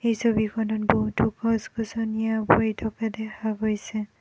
এই ছবিখনত বহুতো গছ-গছনিয়ে ভৰি থকা দেখা গৈছে।